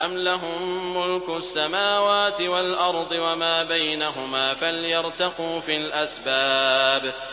أَمْ لَهُم مُّلْكُ السَّمَاوَاتِ وَالْأَرْضِ وَمَا بَيْنَهُمَا ۖ فَلْيَرْتَقُوا فِي الْأَسْبَابِ